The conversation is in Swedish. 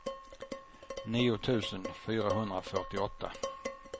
nio tusen fyrahundrafyrtioåtta